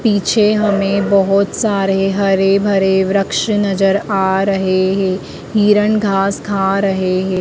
पीछे हमें बहुत सारे हरे भरे वृक्ष नजर आ रहे है हिरण घास खा रहे है।